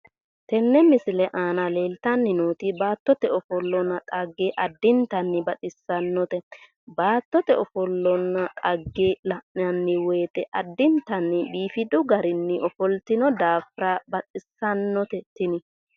Tenne misile aana leeltanni nooti baattote ofollonna dhagge addintanni baxissannote baattote ofollonna dhagge la'nanni woyiite addintanni biifidu garinni ofoltino daafira baxissannote tini